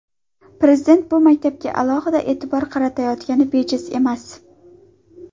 Prezident bu maktabga alohida e’tibor qaratayotgani bejiz emas.